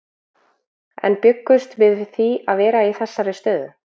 En bjuggumst við við því að vera í þessari stöðu?